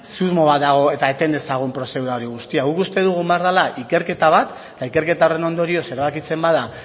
susmo bat dago eta eten dezagun prozedura hori guztia guk uste dugu egon behar dela ikerketa bat eta ikerketa horren ondorioz erabakitzen bada